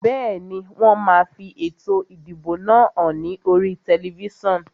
Bẹ́ẹ̀ni, wón máa fi ètò ìdìbò náà hàn ní oríi tẹlifísàn